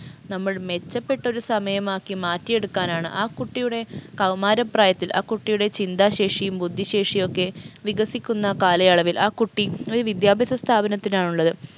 നമ്മൾ മെച്ചപ്പെട്ടൊരു സമയമാക്കി മാറ്റിയെടുക്കാനാണ് ആ കുട്ടിയുടെ കൗമാര പ്രായത്തിൽ ആ കുട്ടിയുടെ ചിന്താശേഷിയും ബുദ്ധിശേഷിയൊക്കെ വികസിക്കുന്ന കാലയളവിൽ ആ കുട്ടി ഒരു വിദ്യാഭ്യാസ സ്ഥാപനത്തിലാണുള്ളത്